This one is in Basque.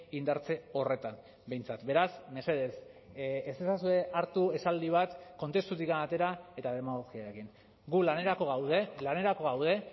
indartze horretan behintzat beraz mesedez ez ezazue hartu esaldi bat kontestutik atera eta demagogia egin gu lanerako gaude lanerako gaude